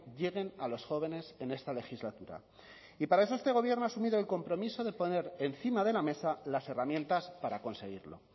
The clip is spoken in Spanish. lleguen a los jóvenes en esta legislatura y para eso este gobierno ha asumido el compromiso de poner encima de la mesa las herramientas para conseguirlo